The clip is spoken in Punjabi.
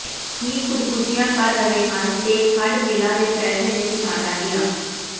ਹੀ ਖੁਦਕੁਸ਼ੀਆ ਕਰ ਰਹੇ ਹਨ ਤੇ ਖੰਡ ਮਿੱਲਾਂ ਦੇ ਫੈਸਲੇ ਨੇ ਕਿਸਾਨਾਂ ਦੀਆਂ